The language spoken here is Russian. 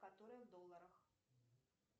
которая в долларах